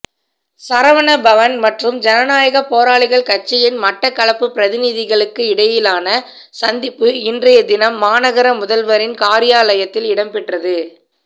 சரவணபவன் மற்றும் ஜனநாயகப் போராளிகள் கட்சியின் மட்டக்களப்பு பிரதிநிதிகளுக்கிடையிலான சந்திப்பு இன்றைய தினம் மாநகர முதல்வரின் காரியாலத்தில் இடம்பெற்றது